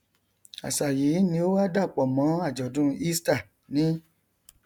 àṣà yìí ni ó wá dàpọ mọn àjọdún easter ní